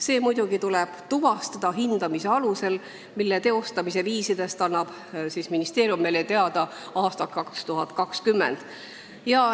See muidugi tuleb tuvastada hindamise alusel, mille teostamise viisidest annab ministeerium meile teada aastal 2020.